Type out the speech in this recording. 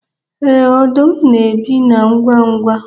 Ee, ọdụm na-ebi na nganga.